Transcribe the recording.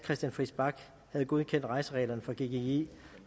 christian friis bach havde godkendt rejsereglerne for gggi